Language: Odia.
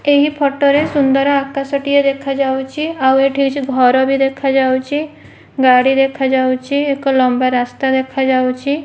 ଏହି ଫଟ ରେ ସୁନ୍ଦର ଆକାଶଟିଏ ଦେଖାଯାଉଚି ଆଉ ଏଠି କିଛି ଘର ବି ଦେଖାଯାଉଚି ଗାଡ଼ି ଦେଖାଯାଉଚି ଏକ ଲମ୍ବା ରାସ୍ତା ଦେଖାଯାଉଚି।